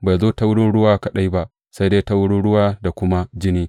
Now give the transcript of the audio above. Bai zo ta wurin ruwa kaɗai ba, sai dai ta wurin ruwa da kuma jini.